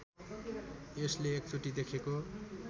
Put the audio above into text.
यसले एकचोटि देखेको